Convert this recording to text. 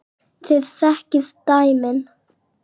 Þið þekkið dæmin.